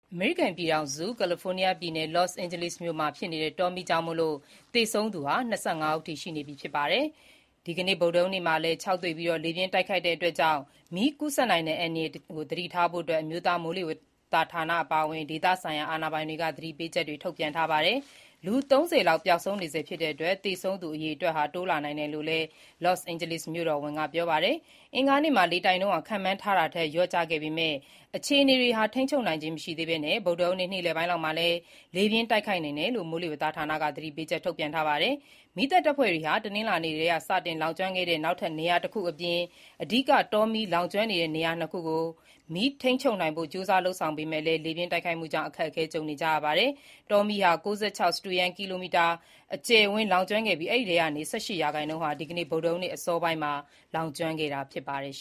အမေရိကန်ပြည်ထောင်စု ကယ်လီဖိုးနီးယားပြည်နယ် လော့စ်အိန်ဂျလိစ်ဒေသမှာတောမီးကြောင့် ဒီနေ့အထိ သေဆုံးသူ ၂၅ ဦးရှိသွားပြီဖြစ်ပြီး ဒီကနေ့ ဗုဒ္ဓဟူးနေ့မှာလည်း ခြောက်သွေ့ပြီး လေပြင်း တိုက်ခတ်နိုင်တာကြောင့် မီးကူးစက်နိုင်တဲ့အန္တရာယ်ကိုသတိထားဖို့ အမျိုးသားမိုးလေဝသဌာန အပါအဝင် ဒေသဆိုင်ရာအာဏာပိုင်တွေက သတိပေးချက်ထုတ်ပြန် ထားပါတယ်။ လူ ၃၀ လောက်ပျောက်ဆုံးနေဆဲဖြစ်တဲ့အတွက် သေဆုံးသူအရေအတွက်ဟာ တိုးလာနိုင်တယ် လို့လည်း လော့စ်အိန်ဂျလိစ်မြို့တော်ဝန် Karen Bass ကပြောပါတယ်။ အင်္ဂါနေ့မှာ လေတိုက်နှုန်း ခန့်မှန်းထားတာထက်လျော့ကျခဲ့ပေမယ့် အခြေအနေတွေဟာ ထိန်းချုပ်နိုင်ခြင်းမရှိသေးဘဲ ဗုဒ္ဓဟူးနေ့ နေ့လယ်ပိုင်းလောက်မှာ လေပြင်းတိုက်ခတ်နိုင်တယ်လို့ မိုးလေဝသဌာနက သတိပေးချက် ထုတ်ပြန် ထားပါတယ်။ မီးသတ်တပ်ဖွဲ့တွေဟာ တနင်္လာနေ့က စတင်လောင်ကျွမ်းခဲ့တဲ့ နောက်ထပ်နေရာငယ်တခုအပြင် အဓိက တောမီးလောင်ကျွမ်းနေတဲ့နေရာနှစ်နေရာကို မီးငြိမ်းသတ်ထိန်းချုပ်နိုင်ဖို့ လုပ်ဆောင်နေပေမယ့်လည်း လေပြင်းတိုက်ခတ်မှုကြောင့် အခက်အခဲနဲ့ကြုံနေရပါတယ်။ လော့စ်အိန်ဂျလိစ်ဒေသတွင်း တောမီးဟာ ၉၆ စတုရန်းကီလိုမီတာအကျယ် လောင်ကျွမ်းခဲ့ပြီး အဲဒီအထဲက ၁၈ ရာနှုန်းဟာ ဒီကနေ့ ဗုဒ္ဓဟူးနေ့ အစောပိုင်းမှာ စတင် လောင်ကျွမ်းခဲ့တာဖြစ်ပါတယ်။